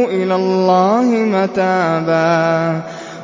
إِلَى اللَّهِ مَتَابًا